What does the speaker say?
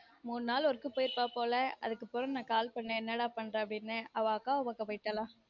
மூனு நாளு work போயிருப்பபோல அதுக்கு போய் நான் call பண்ணன் என்ன டா பண்ற அப்டினு அவ அக்காவ பாக்க போய்டலா